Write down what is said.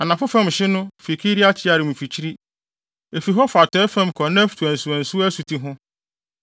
Anafo fam hye no, fi Kiriat-Yearim mfikyiri. Efi hɔ fa atɔe fam kɔ Neftoa nsuwansuwa asuti ho,